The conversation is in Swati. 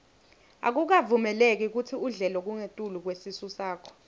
akukavumeleki kutsi udle lokungetulu kwesisu sakho